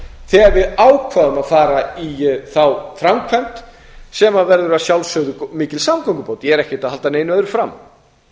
þegar við ákváðum að fara í þá framkvæmd sem verður að sjálfsögðu mikil samgöngubót ég er ekkert að halda neinu öðru fram